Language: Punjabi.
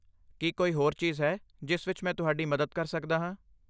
ਕੀ ਕੋਈ ਹੋਰ ਚੀਜ਼ ਹੈ ਜਿਸ ਵਿੱਚ ਮੈਂ ਤੁਹਾਡੀ ਮਦਦ ਕਰ ਸਕਦਾ ਹਾਂ?